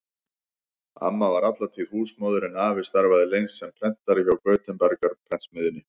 Amma var alla tíð húsmóðir en afi starfaði lengst sem prentari hjá Gutenberg-prentsmiðjunni.